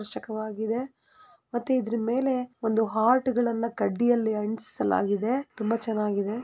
ರೋಚಕವಾಗಿದೆ ಮತ್ತೆ ಇದರ ಮೇಲೆ ಒಂದು ಹಾರ್ಟ ಗಳನ್ನ ಒಂದು ಕಡ್ಡಿಯನ್ನು ಅಂಟಿಸಲಾಗಿದೆ ತುಂಬಾ ಚೆನ್ನಾಗಿದೆ .